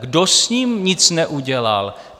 Kdo s ním nic neudělal?